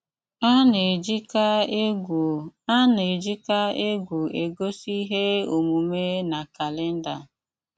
Á ná-éjíkà égwú Á ná-éjíkà égwú égosi íhé ómùmé ná kálénda.